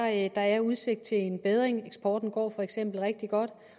at der er udsigt til en bedring eksporten går for eksempel rigtig godt